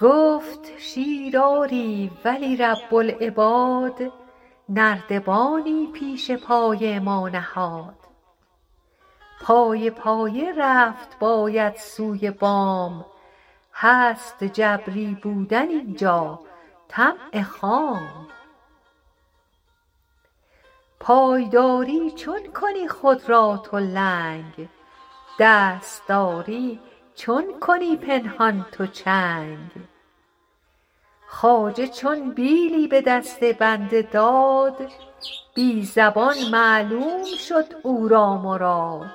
گفت شیر آری ولی رب العباد نردبانی پیش پای ما نهاد پایه پایه رفت باید سوی بام هست جبری بودن اینجا طمع خام پای داری چون کنی خود را تو لنگ دست داری چون کنی پنهان تو چنگ خواجه چون بیلی به دست بنده داد بی زبان معلوم شد او را مراد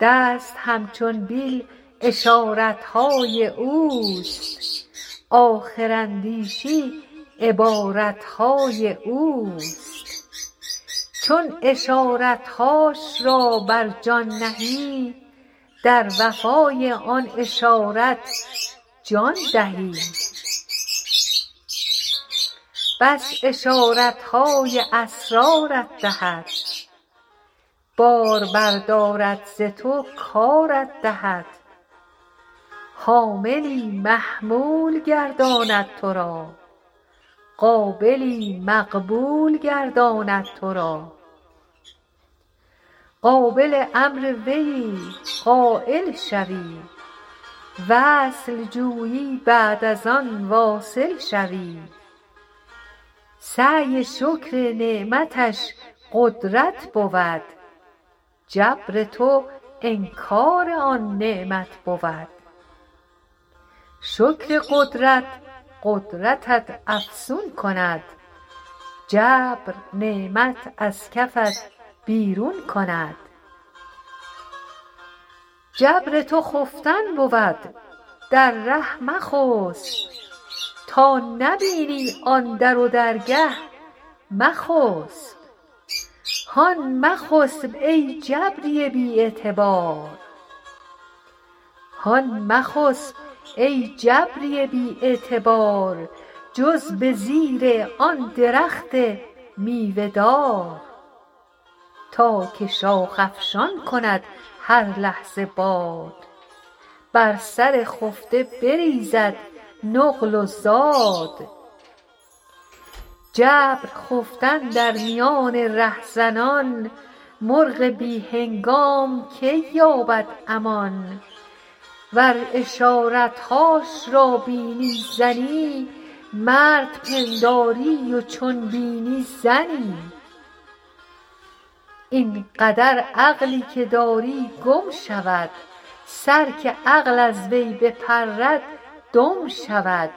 دست همچون بیل اشارت های اوست آخر اندیشی عبارت های اوست چون اشارت هاش را بر جان نهی در وفا ی آن اشارت جان دهی پس اشارت های اسرار ت دهد بار بر دارد ز تو کارت دهد حاملی محمول گرداند تو را قابلی مقبول گرداند تو را قابل امر ویی قایل شوی وصل جویی بعد از آن واصل شوی سعی شکر نعمتش قدرت بود جبر تو انکار آن نعمت بود شکر قدرت قدرتت افزون کند جبر نعمت از کفت بیرون کند جبر تو خفتن بود در ره مخسپ تا نبینی آن در و درگه مخسپ هان مخسپ ای کاهل بی اعتبار جز به زیر آن درخت میوه دار تا که شاخ افشان کند هر لحظه باد بر سر خفته بریزد نقل و زاد جبر و خفتن در میان ره زنان مرغ بی هنگام کی یابد امان ور اشارت هاش را بینی زنی مرد پنداری و چون بینی زنی این قدر عقلی که داری گم شود سر که عقل از وی بپرد دم شود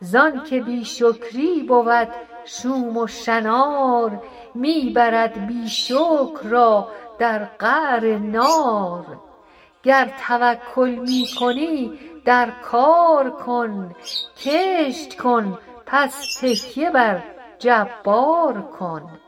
زانک بی شکری بود شوم و شنار می برد بی شکر را در قعر نار گر توکل می کنی در کار کن کشت کن پس تکیه بر جبار کن